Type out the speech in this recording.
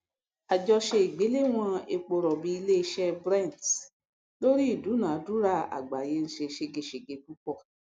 àjọsọ ìgbéléwọn eporọbì iléiṣẹ brent lórí ìdúnàádúrà àgbáyé ń ṣe ṣégeṣège púpọ